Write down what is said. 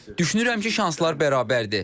Düşünürəm ki, şanslar bərabərdir.